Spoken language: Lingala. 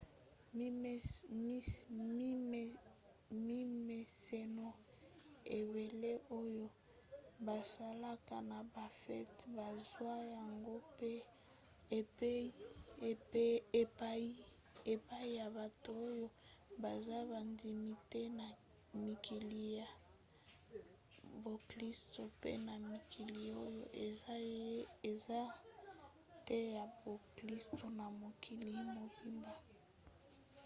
mimeseno ebelele oyo basalaka na bafete bazwa yango mpe epai ya bato oyo baza bandimi te na mikili ya boklisto mpe na mikili oyo eza te ya boklisto na mokili mobimba